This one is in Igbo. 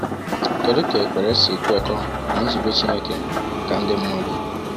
Kedu ka ekwere si kwekọọ na nzube Chineke maka ndị mmadụ?